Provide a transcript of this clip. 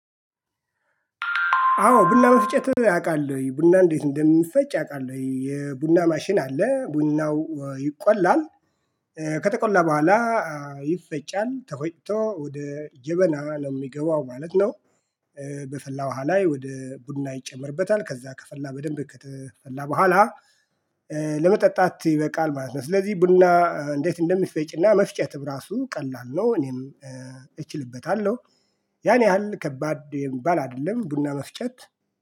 አዎ ቡና መፍጨት አውቃለሁኝ። ቡና እንዴት እንደሚፈጭ አውቃለሁኝ የቡና ማሽን አለ ቡናው ይቆላል ከተቆላ በኋላ ይፈጫል፤ ተፈጭቶ ወደ ጀበና ነው የሚገባው ማለት ነው። በፈላ ውሃ ላይ ወደ ቡና ይጨምርበታ፤ ከዛ ከፈላ በደንብ ከተፈላ በኋላ ለመጠጣት ይበቃል ማለት ነው። ስለዚህ ቡና እንዴት እንደሚፈጭና መፍጨትም ራሱ ቀላል። ነው እኔም እችልበታለሁ። ያን ያህል ከባድ የሚባል አይደለም ቡና መፍጨት